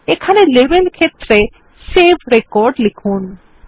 এখানে লেবেল ক্ষেত্রে save record লিখুন